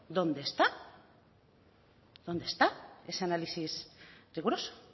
dónde está dónde está ese análisis riguroso